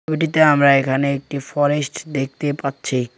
ছবিটিতে আমরা এখানে একটি ফরেস্ট দেখতে পাচ্ছি।